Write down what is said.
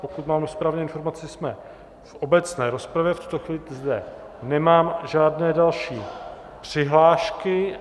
Pokud mám správnou informaci, jsme v obecné rozpravě, v tuto chvíli zde nemám žádné další přihlášky.